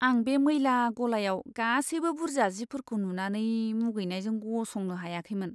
आं बे मैला गलायाव गासैबो बुरजा जिफोरखौ नुनानै मुगैनायजों गसंनो हायाखैमोन।